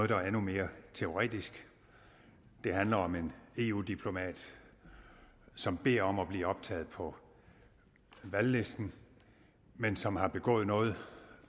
der er endnu mere teoretisk det handler om en eu diplomat som beder om at blive optaget på valglisten men som har begået noget